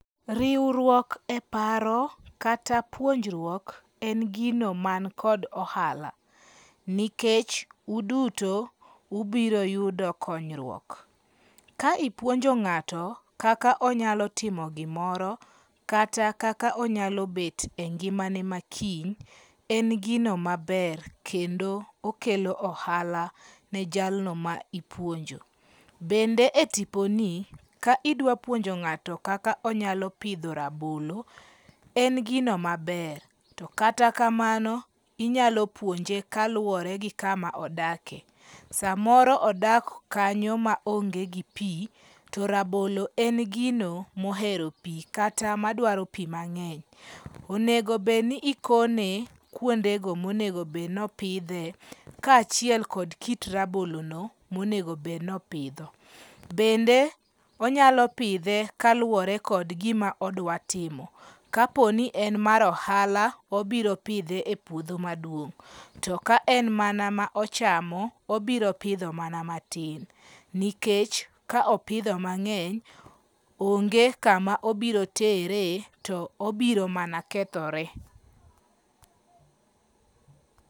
Riwruok e paro kata puonjruok en gino man kod ohala nikech uduto ubiro yudo konyruok. Ka ipuonjo ng'ato kaka onyalo timo gimoro kata kaka onyalo bet e ngimane ma kiny, en gino maber kendo okelo ohala ne jalno ma ipuonjo. Bende e tiponi, ka idwa puonjo ng'ato kaka onyalo pidho rabolo, en gino maber, to kata kamano inyalo puonje kaluwore gi kama odake. Samoro odak kanyo maonge gi pi to rabolo en gino mohero pi kata madwaro pi mang'eny. Onego bed ni ikone kuondego monegobed nopidhe kaachiel kod kit rabolono monego bed nopidho. Bende onyalo pidhe kaluwore kod gima odwatimo. Kapo ni en mar ohala, obiro pidhe e puodho maduong'. To ka en mana ma ochamo, obiro pidho mana matin nikech ka opidho mang'eny, onge kama obiro tere to obiro mana kethore.